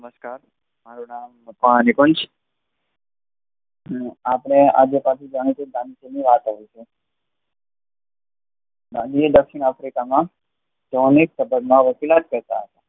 નમસ્કાર મારૂ નામ મકવાણા નિકુંજ આપડે આજે પાછું જવાનું હતું ગાંધીજી ની વાત આવી છે ગાંધી એ દક્ષિણાફ્રિકા માં એ સમયે વકીલાત કરતા હતા.